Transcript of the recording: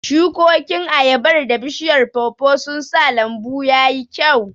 Shukokin ayabar da bishiyar pawpaw sun sa lambu ya yi kyau.